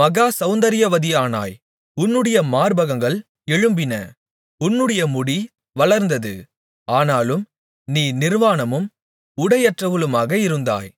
மகா செளந்தரியவதியானாய் உன்னுடைய மார்பகங்கள் எழும்பின உன்னுடைய முடி வளர்ந்தது ஆனாலும் நீ நிர்வாணமும் உடையற்றவளுமாக இருந்தாய்